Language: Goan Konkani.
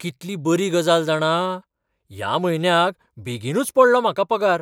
कितली बरी गजाल जाणा! ह्या म्हयन्याक बेगीनूच पडलो म्हाका पगार!